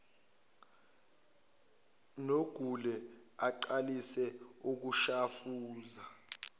nogule aqalise ukushafuza